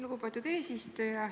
Lugupeetud eesistuja!